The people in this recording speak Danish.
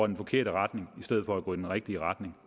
den forkerte retning i stedet for at gå i den rigtige retning